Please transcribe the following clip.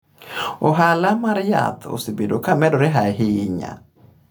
Ohala mar yath osebedo ka medore ahinya.